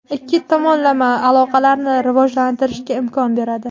ikki tomonlama aloqalarni rivojlantirishga imkon beradi.